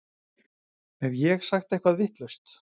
Hef ég sagt eitthvað vitlaust?